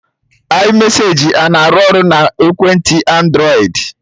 iMesaji ana arụ ọrụ na ekwentị Andrọịd?